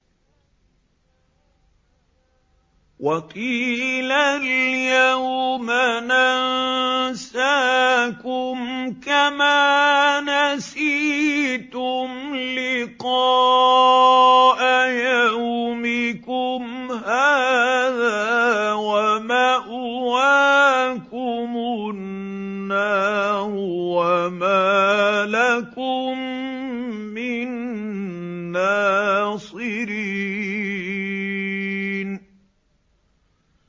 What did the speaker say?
وَقِيلَ الْيَوْمَ نَنسَاكُمْ كَمَا نَسِيتُمْ لِقَاءَ يَوْمِكُمْ هَٰذَا وَمَأْوَاكُمُ النَّارُ وَمَا لَكُم مِّن نَّاصِرِينَ